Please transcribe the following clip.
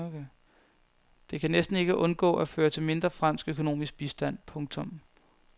Det kan næsten ikke undgå at føre til mindre fransk økonomisk bistand. punktum